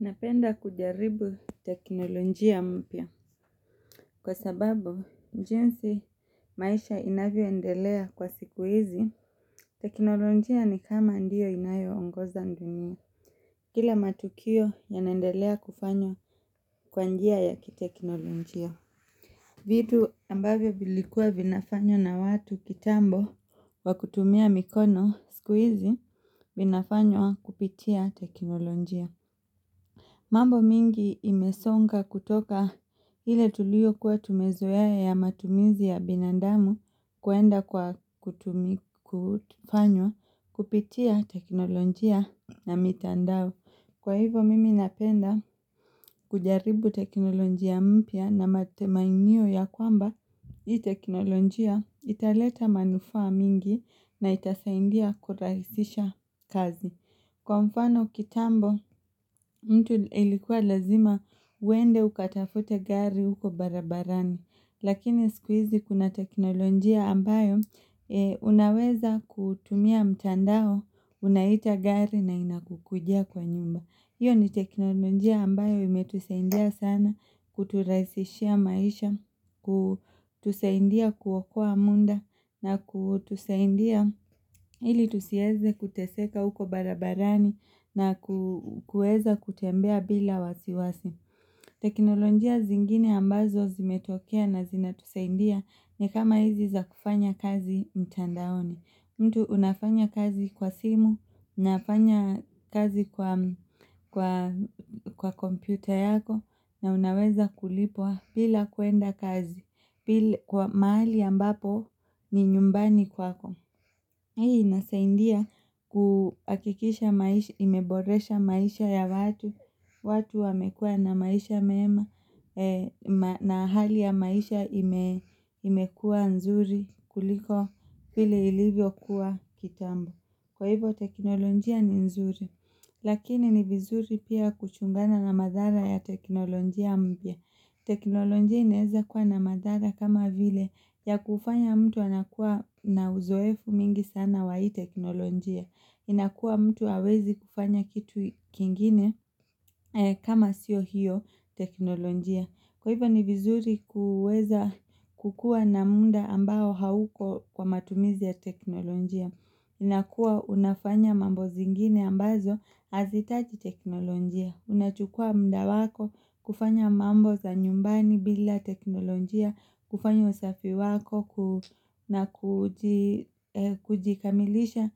Napenda kujaribu teknolojia mpya. Kwa sababu, njinsi maisha inavyoendelea kwa siku hizi, teknolojia ni kama ndiyo inayo ongoza ndunia Kila matukio ya naendelea kufanywa kwa njia ya kitekinolojia. Vitu ambavyo vilikuwa vinafanywa na watu kitambo kwakutumia mikono siku hizi vinafanywa kupitia teknolojia. Mambo mingi imesonga kutoka hile tulio kuwa tumezoa ya matumizi ya binandamu kuenda kwa kutumikufanywa kupitia teknolojia na mitandao. Kwa hivo mimi napenda kujaribu teknolojia mpya na matemainio ya kwamba itekinolojia italeta manufaa mingi na itasaindia kurahisisha kazi. Kwa mfano kitambo, mtu ilikuwa lazima uende ukatafute gari huko barabarani, lakini sikuizi kuna teknolojia ambayo, unaweza kutumia mtandao, unaita gari na inakukujia kwa nyumba. Iyo ni teknolojia ambayo imetuseindia sana kuturaisishia maisha, kutuseindia kuokoa munda na kutuseindia ili tusieze kuteseka uko barabarani na kueza kutembea bila wasiwasi. Teknolojia zingine ambazo zimetokea na zinatuseindia ni kama hizi za kufanya kazi mtandaoni. Mtu unafanya kazi kwa simu, unafanya kazi kwa kwa kwa kompyuta yako na unaweza kulipwa bila kuenda kazi kwa mahali ambapo ni nyumbani kwako. Hii nasa india kuhakikisha maish imeboresha maisha ya watu, watu wamekua na maisha mema, na ahali ya maisha imekua nzuri kuliko hile ilivyo kuwa kitambo. Kwa hivo teknolojia ni nzuri lakini ni vizuri pia kuchungana na madhara ya teknolojia mpya. Teknolojia inaeza kuwa na madhara kama vile ya kufanya mtu anakuwa na uzoefu mingi sana wa hii teknolojia. Inakuwa mtu awezi kufanya kitu kingine kama sio hio teknolojia. Kwa hivo ni vizuri kuuweza kukua na munda ambao hauko kwa matumizi ya teknolojia. Inakua unafanya mambo zingine ambazo hazitaji teknolojia. Unachukua mda wako kufanya mambo za nyumbani bila teknolojia, kufanya usafi wako ku na kuji kujikamilisha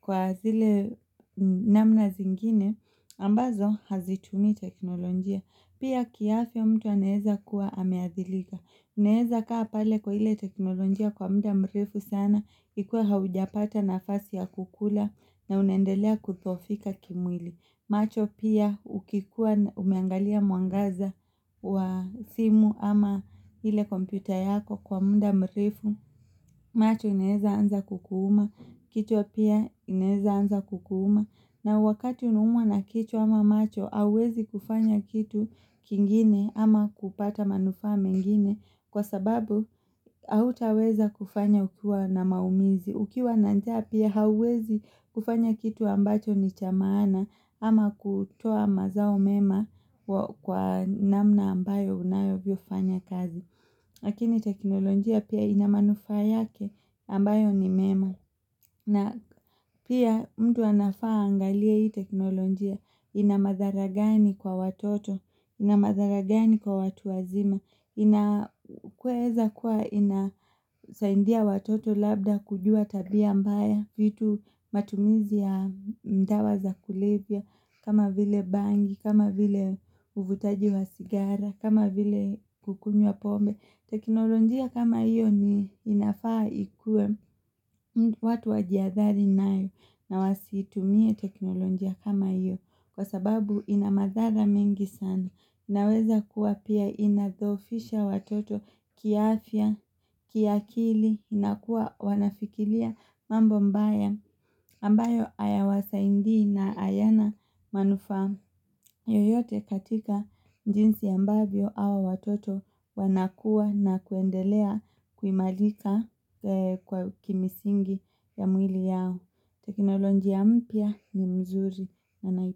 kwa zile namna zingine ambazo hazitumii teknolojia. Pia kiafya mtu anaeza kuwa ameadhilika. Uneeza kaa pale kwa ile teknolonjia kwa muda mrefu sana. Ikue haujapata nafasi ya kukula na unaendelea kudhofika kimwili. Macho pia ukikuwa umeangalia mwangaza wa simu ama ile kompyuta yako kwa muda mrefu. Macho inaeza anza kukuuma. Kichwa pia inaeza anza kukuuma. Na wakati unaumwa na kichwa ama macho hauwezi kufanya kitu kingine ama kupata manufaa mengine kwa sababu hautaweza kufanya ukiwa na maumizi. Ukiwa na njaa pia hauwezi kufanya kitu ambacho ni chamaana ama kutoa mazao mema kwa kwa namna ambayo unavyofanya kazi. Lakini teknolojia pia inamanufaa yake ambayo ni mema na pia mtu anafaa angalie hii teknolojia inamadharagani kwa watoto inamadharagani kwa watu wazima inakueza kuwa inasaindia watoto labda kujua tabia mbaya vitu matumizi ya mdawa za kulevya kama vile bangi kama vile uvutaji wa sigara kama vile kukunywa pombe Tekinolonjia kama iyo ni inafaa ikue watu wajiathari nayo na wasitumie teknolonjia kama iyo kwa sababu inamadhala mingi sana naweza kuwa pia inadhofisha watoto kiafya kiakili inakuwa wanafikilia mambo mbaya ambayo ayawasa indi na ayana manufa. Yoyote katika njinsi ambavyo awa watoto wanakua na kuendelea kuimalika kwa kimsingi ya mwili yao. Teknolonjia mpya ni mzuri na nai.